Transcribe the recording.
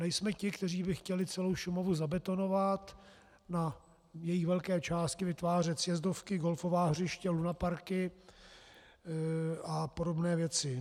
Nejsme ti, kteří by chtěli celou Šumavu zabetonovat, na její velké části vytvářet sjezdovky, golfová hřiště, lunaparky a podobné věci.